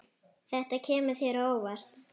Þetta kemur þér á óvart.